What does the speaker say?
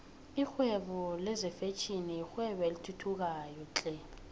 lihwebo lezinfhvthi yirwebo elithuthukayo flhe